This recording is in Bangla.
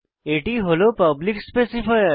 এটি হল পাবলিক স্পেসিফায়ার